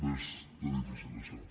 bé està difícil això